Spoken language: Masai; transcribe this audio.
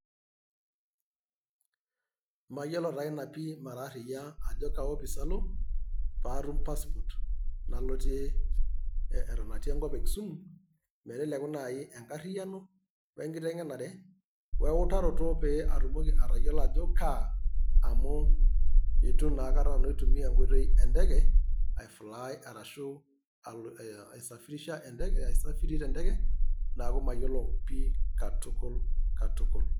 Mayiolo taa ina pi ,mara aria`a ajo kaa office alo paatum passport nalotie airuratie enkop e Kisumu meteleku nai enkariano ,oe enkitengenenare ,oeutaroto pee atumoki atayiolo ajo kaa amu eitu naa akata nanu aitumia enkoitoi enteke ae fly arashu alo aisafirisha aisafiri te enteke niaku mayiolo pi katukul katukul